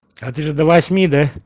а ты же до восьми да